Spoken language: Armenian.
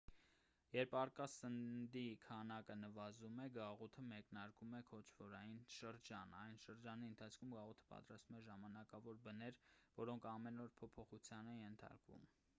երբ առկա սննդի քանակը նվազում է գաղութը մեկնարկում է քոչվորային շրջան այս շրջանի ընթացքում գաղութը պատրաստում է ժամանակավոր բներ որոնք ամեն օր փոփոխության են ենթարկում